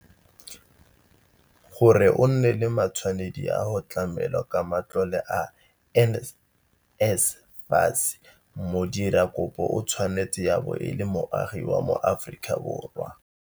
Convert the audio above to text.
Gore o nne le matshwanedi a go tlamelwa ka matlole a NSFAS, modira kopo o tshwanetse ya bo e le moagi wa moAforika